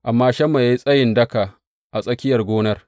Amma Shamma ya yi tsayi daka a tsakiyar gonar.